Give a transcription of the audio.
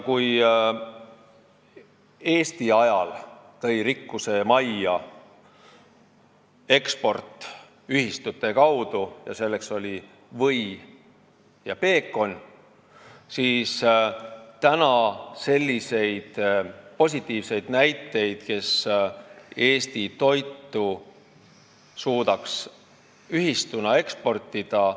Kui Eesti ajal tõi rikkuse majja eksport ühistute kaudu ja artikliteks olid või ja peekon, siis praegu ei ole selliseid positiivseid näiteid, et keegi suudaks ühistuna Eesti toitu eksportida.